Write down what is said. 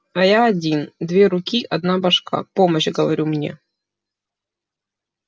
а я один две руки одна башка помощь говорю мне